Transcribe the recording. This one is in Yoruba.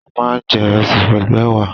A máa ń jẹ ìrẹsì pẹ̀lú ẹ̀wà